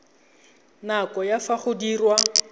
nako ya fa go diriwa